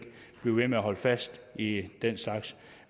blive ved med at holde fast i den slags